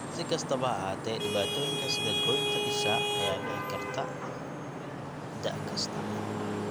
Si kastaba ha ahaatee, dhibaatooyinka sida goynta isha ayaa dhici karta da' kasta.